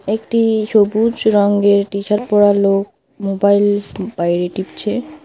একটি সবুজ রঙ্গের টি শার্ট পড়া লোক মোবাইল টুপাইল টিপছে।